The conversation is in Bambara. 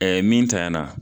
min tanyana